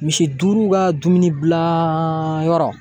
Misi duuru ka dumuni dilan yɔrɔ.